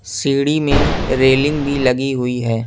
सीढी में रेलिंग भी लगी हुई है।